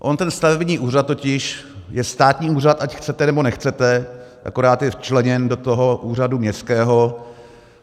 On ten stavební úřad totiž je státní úřad, ať chcete, nebo nechcete, akorát je včleněn do toho úřadu městského.